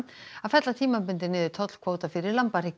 að fella tímabundið niður tollkvóta fyrir